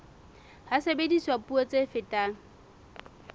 ha sebediswa puo tse fetang